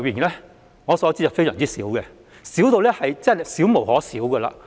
以我所知，是相當少的，根本少無可少。